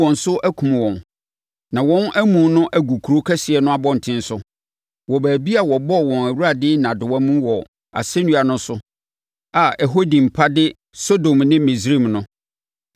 na wɔn amu no agu kuro kɛseɛ no abɔntene so, wɔ baabi a wɔbɔɔ wɔn Awurade nnadewa mu wɔ asɛnnua no so a ɛhɔ din pa de Sodom ne Misraim no.